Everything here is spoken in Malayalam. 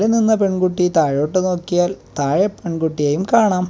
നിന്ന പെൺകുട്ടി താഴോട്ട് നോക്കിയാൽ താഴെ പെൺകുട്ടിയെയും കാണാം.